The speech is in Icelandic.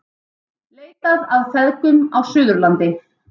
Leitað að feðgum á Suðurlandi